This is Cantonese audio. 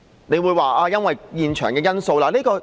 你會說這是因為現場的情況。